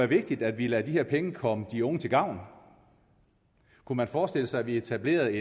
vigtigt at vi lader de her penge komme de unge til gavn kunne man forestille sig at vi etablerede